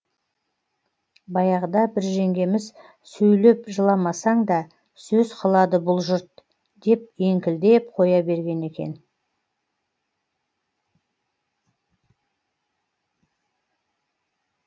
баяғыда бір жеңгеміз сөйлеп жыламасаң да сөз қылады бұл жұрт деп еңкілдеп қоя берген екен